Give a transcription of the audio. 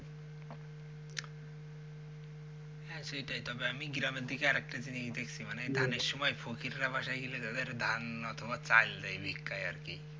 হ্যাঁ সেটাই তবে আমি গ্রামের দিকে আরেকটা জিনিস দেখছি মানে ধানের সময় ফকিররা বাসায় বাসায় চলে গেলে ধান অথবা চাল দেয় ভিক্ষায় আরকি।